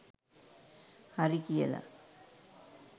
හරි කියල